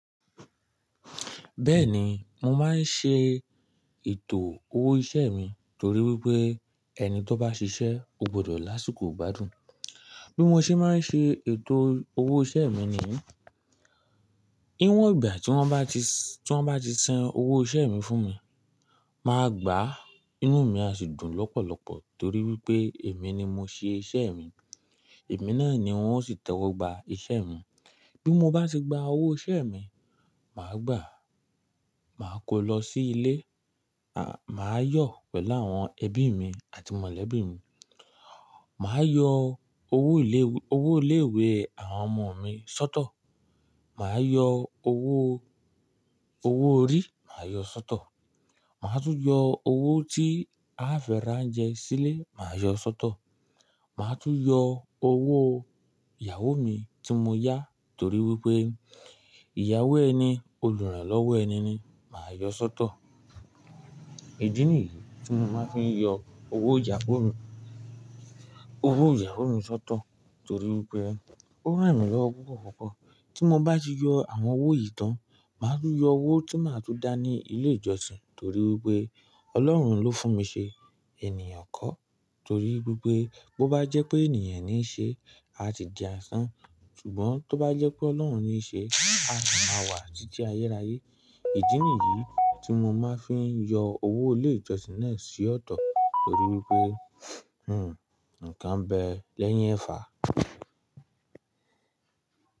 Bẹ́ẹ̀ni, mo máa ń ṣe ètò owó iṣẹ́ mi torí wípé ẹni tó bá ṣiṣẹ́, ó gbọdọ̀ lásìkò gbádùn. Bí mo ṣe máa ń ṣe ètò owó iṣẹ́ mi ni, níwọ̀n ìgbà tí wọ́n bá ti san owó iṣẹ́ mi fún mi, màá gbà á, inú mi á sì dùn lọ́pọ̀lọ́pọ̀ torí wípé èmi ni mo ṣe iṣẹ́ mi. Èmi náà ni wón ó sì tẹ́wọ́ gba iṣẹ́ mi. Bí mo bá ti gba owó iṣẹ́ mi, màá gbà á, màá kó lọ sí ilé, à, màá yọ̀ pẹ̀lú àwọn ẹbí mi àti mọ̀lẹ́bí mi. Màá yọ owó ilé ìwé àwọn ọmọ mi sọ́tọ̀. Màá yọ owó, owó orí, màá yọ sọ́tọ̀. Màá tún yọ owó tí a fi ra oúnjẹ sílé, màá yọ sọ́tọ̀. Màá tún yọ owó ìyàwó mi tí mo yá torí wípé ìyàwó ẹni, olùrànlọ́wọ ẹni ni, màá yọ sọ́tọ̀. Ìdí nìyí tí mo máa ń fi yọ owó ìyàwó mi, owó ìyàwó mi sọ́tọ̀ torí wípé ó ràn mí lọ́ púpọ̀púpọ̀. Tí mo bá ti yọ àwọn owó yìí tán, màá tún yọ owó tí màá tún dá ní ilé ìjọsìn torí wípé Ọlọ́run ló fún mi ṣe ènìyàn kọ torí wípé bó bá jẹ́ pé ènìyàn níí ṣe, a ti di asán. Ṣùgbọ́n tó bá jẹ́ pé Ọlọ́run níí ṣe, a sì máa wà títí ayérayé. Ìdí nìyí tí mo máa ń fi yọ owó ilé ìjọsìn náà sí ọ̀tọ̀ torí wípé, hmmm, ǹkan n bẹ lẹ́yìn ẹ̀fà.